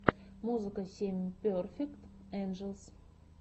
музыка семь перфект энджелс